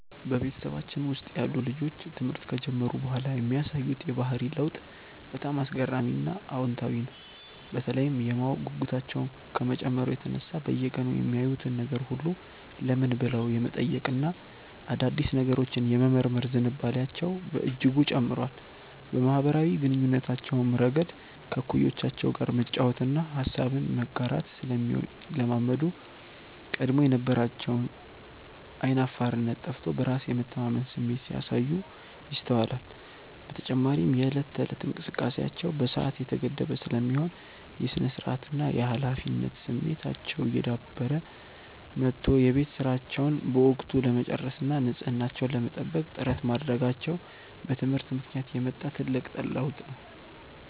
በቤተሰባችን ውስጥ ያሉ ልጆች ትምህርት ከጀመሩ በኋላ የሚያሳዩት የባህሪ ለውጥ በጣም አስገራሚና አዎንታዊ ነው፤ በተለይም የማወቅ ጉጉታቸው ከመጨመሩ የተነሳ በየቀኑ የሚያዩትን ነገር ሁሉ "ለምን?" ብለው የመጠየቅና አዳዲስ ነገሮችን የመመርመር ዝንባሌያቸው በእጅጉ ጨምሯል። በማኅበራዊ ግንኙነታቸውም ረገድ ከእኩዮቻቸው ጋር መጫወትንና ሐሳብን መጋራትን ስለሚለማመዱ፣ ቀድሞ የነበራቸው ዓይን አፋርነት ጠፍቶ በራስ የመተማመን ስሜት ሲያሳዩ ይስተዋላል። በተጨማሪም የዕለት ተዕለት እንቅስቃሴያቸው በሰዓት የተገደበ ስለሚሆን፣ የሥነ-ስርዓትና የኃላፊነት ስሜታቸው እየዳበረ መጥቶ የቤት ሥራቸውን በወቅቱ ለመጨረስና ንጽሕናቸውን ለመጠበቅ ጥረት ማድረጋቸው በትምህርት ምክንያት የመጣ ትልቅ ለውጥ ነው።